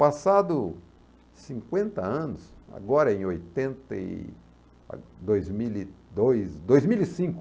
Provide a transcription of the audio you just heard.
Passado cinquenta anos, agora em oitenta e, dois mil e dois, dois mil e cinco,